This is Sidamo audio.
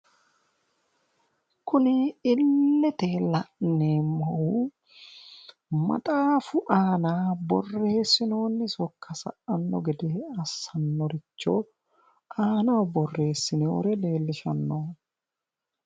Kuni illete la'neemmohu maxaafu aana borreessinoonni sokka sa"anno gede assannoricho aanaho borreessinoyire leellishanno.